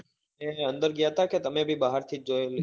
અંદર ગયા ત્યાં કે તમે બી બહાર થી જ જોયેલી?